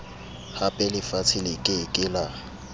hapelefatshe le ke ke la